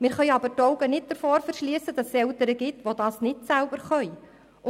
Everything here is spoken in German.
Wir dürfen aber nicht die Augen davor verschliessen, dass es Eltern gibt, die dies nicht selber können.